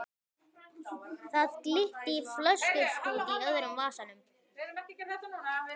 Það glitti í flöskustút í öðrum vasanum.